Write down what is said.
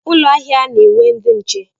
Ụlọ ahịa na-enwe ndị nche.